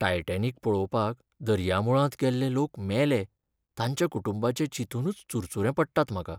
Titanic पळोवपाक दर्यामुळांत गेल्ले लोक मेले, तांच्या कुटुंबांचें चिंतूनच चुरचुरे पडटात म्हाका.